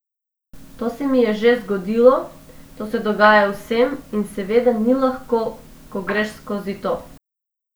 To se mi je že zgodilo, to se dogaja vsem in seveda ni lahko, ko greš skozi to.